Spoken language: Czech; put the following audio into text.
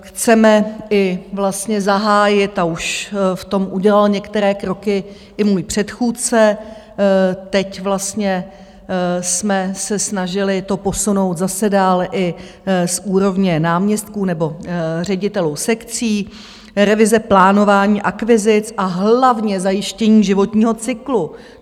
Chceme i vlastně zahájit, a už v tom udělal některé kroky i můj předchůdce, teď vlastně jsme se snažili to posunout zase dál i z úrovně náměstků nebo ředitelů sekcí, revize plánování akvizic a hlavně zajištění životního cyklu.